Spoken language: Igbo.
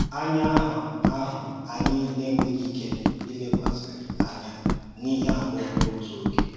Ányá ànụ́ àhụ́ anyị enweghị́ ike ìlekọ́sì ányá n’íhè abụọ n’ótù ògé.